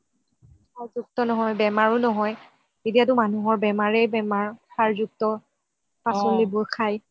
সাৰ যুক্ত নহয় আৰু বেমাৰও নহয় এতিয়াটো মানুহৰ বেমাৰে বেমাৰ সাৰ যুক্ত পাচলিবোৰ খাই